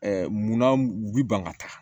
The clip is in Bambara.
munna bɛ ban ka taa